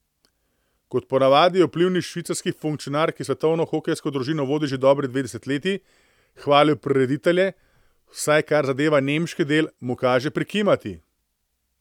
Kot ponavadi je vplivni švicarski funkcionar, ki svetovno hokejsko družino vodi že dobri dve desetletji, hvalil prireditelje, vsaj kar zadeva nemški del, mu kaže prikimati.